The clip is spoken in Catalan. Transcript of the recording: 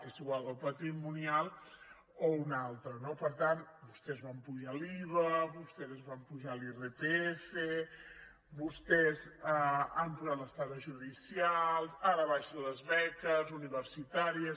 és igual el patrimonial o un altre no per tant vostès van apujar l’iva vostès ens van apujar l’irpf vostès han posat les taxes judicials ara baixen les beques universitàries